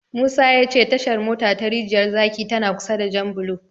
Musa ya ce Tashar mota ta Rijiyar zaki tana kusa da Janbulo.